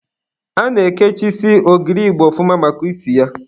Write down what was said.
A na-ekechisi ogiri igbo ọfụma maka isi ya.